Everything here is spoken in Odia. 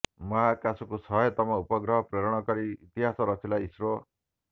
ମହାକାଶକୁ ଶହେତମ ଉପଗ୍ରହ ପ୍ରେରଣ କରି ଇତିହାସ ରଚିଲା ଇସ୍ରୋ